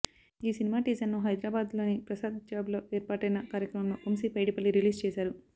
ఈ సినిమా టీజర్ను హైదరాబాద్లోని ప్రసాద్ల్యాబ్లో ఏర్పాటైన కార్యక్రమంలో వంశీ పైడిపల్లి రిలీజ్ చేశారు